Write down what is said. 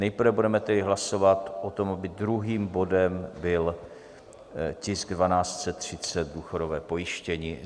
Nejprve budeme tedy hlasovat o tom, aby druhým bodem byl tisk 1230, důchodové pojištění.